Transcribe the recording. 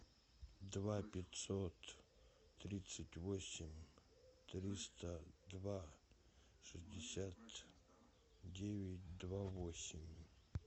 два пятьсот тридцать восемь триста два шестьдесят девять два восемь